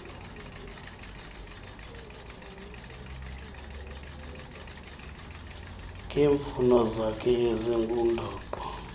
ngeemfuno zakhe ezingundoqo